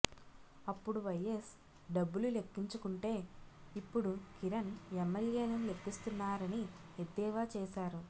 అప్పుడు వైయస్ డబ్బులు లెక్కించుకుంటే ఇప్పుడు కిరణ్ ఎమ్మెల్యేలను లెక్కిస్తున్నారని ఎద్దేవా చేశారు